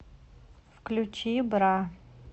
включи бра